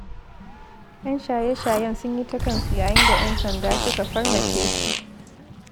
Yan shaye-shayen sun yi ta kansu yayin da 'yan sanda suka farmake su.